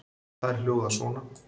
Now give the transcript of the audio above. Þær hljóða svona: